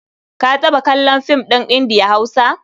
Ka taɓa kallon fim ɗin Indiya-Hausa?